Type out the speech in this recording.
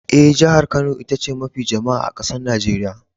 Eh, jihar Kano ita ce mafi jama'a a'kasan Nijeriya.